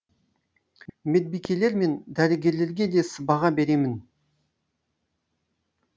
медбикелер мен дәрігерлерге де сыбаға беремін